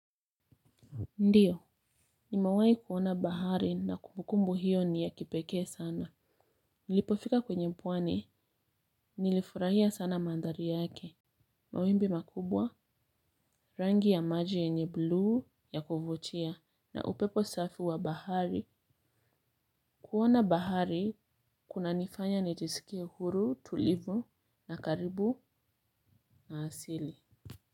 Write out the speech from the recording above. Ndiyo, nimewai kuona bahari na kumukumbu hiyo ni ya kipeke sana. Nilipofika kwenye mpwani, nilifurahia sana mandhari yake. Mawimbi makubwa, rangi ya maji yenye blue ya kuvutia na upepo safi wa bahari. Kuona bahari, kuna nifanya nijisikie huru tulivu na karibu na asili.